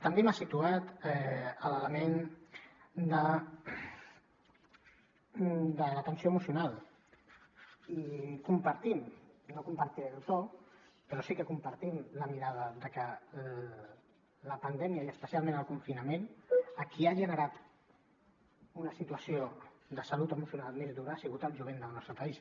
també m’ha situat l’element de l’atenció emocional i compartim no compartiré el to però sí que compartim la mirada de que la pandèmia i especialment el confinament a qui ha generat una situació de salut emocional més dura ha sigut al jovent del nostre país